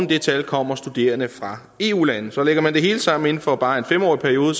det tal kommer studerende fra eu lande så lægger man det hele sammen inden for bare en femårig periode